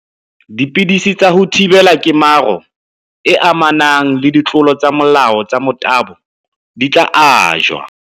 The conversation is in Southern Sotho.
Dipidisi tsa ho thibela kemaro e amanang le ditlolo tsa molao tsa motabo di tla ajwa.